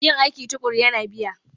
Yin aiki tuƙuru yana biya.